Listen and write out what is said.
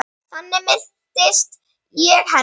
Þannig minnist ég hennar.